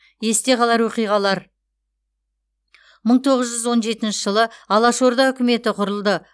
есте қалар оқиғалар мың тоғыз жүз он жетінші жылы алаш орда үкіметі құрылды